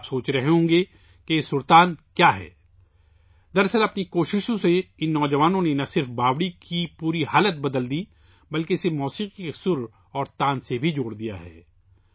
آپ سوچ رہے ہوں گے کہ یہ سرتان کیا ہے؟ درحقیقت ان نوجوانوں نے اپنی کاوشوں سے نہ صرف اس باوڑی کا کایاکلپ کیا بلکہ اسے موسیقی کے سر اور تان سے بھی جوڑ دیا ہے